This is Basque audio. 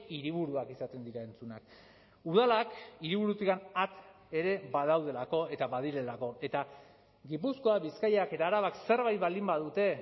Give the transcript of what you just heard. hiriburuak izaten dira entzunak udalak hiriburutikan at ere badaudelako eta badirelako eta gipuzkoa bizkaiak eta arabak zerbait baldin badute